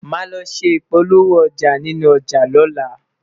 má ló ṣé ipolowo ọja nínú ọja lola